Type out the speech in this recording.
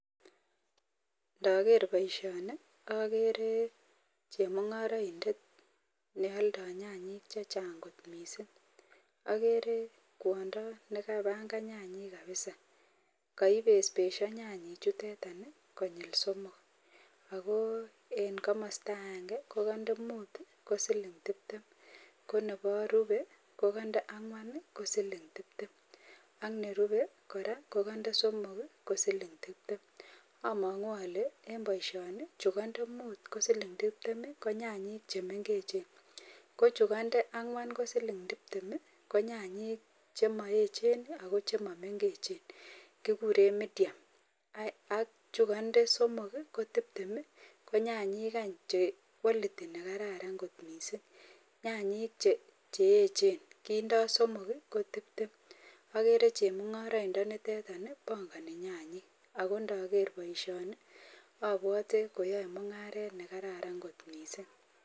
Nager baishoni agere chemungaraindet neyoldol nyanyik chechang kot mising agere kwondo nekabangannyanyik kabisa kaibesbesho nyanyik chutetan konyil somok ako en kamasta agenge kokande mut kosiling tibtem konerube kokande angwan kosiling tibtem ak nerube koraa kokande somok kosiling tibtem amangu Kole en baishoni chugandet mutkosilg tibtem ko nyanyik chemengechen ko chukande angwan kosiling tibtem ko nyanyik chemayechen ak chemamengechenbkekuren (Cs( medium achugande somok ko tibtem konyanyik Che kwaliti nekararan kot mising nyanyik cheyechen kindoi somok ko tibtem agere chemungaraindet nitet bangani nyanyik akondager baishoni abwati koyae mungaret nekararan mising.